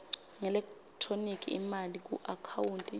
ngeelekthroniki imali kuakhawunti